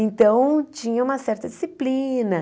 Então, tinha uma certa disciplina.